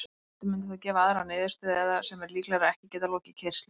Forritið mundi þá gefa aðra niðurstöðu eða, sem er líklegra, ekki geta lokið keyrslu.